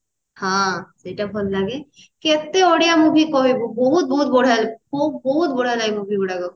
ହଁ ସେଇଟା ଭଲ ଲାଗେ କେତେ ଓଡିଆ movie କହିବୁ ବହୁତ ବହୁତ ବଢିଆ ଲାଗେ ବହୁତ ବହୁତ ବଢିଆ ଲାଗେ movie ଗୁଡାକ